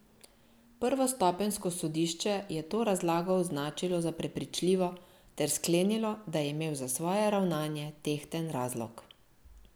Prvostopenjsko sodišče je to razlago označilo za prepričljivo ter sklenilo, da je imel za svoje ravnanje tehten razlog.